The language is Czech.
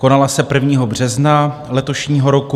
Konala se 1. března letošního roku.